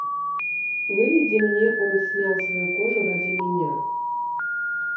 выведи мне он снял свою кожу ради меня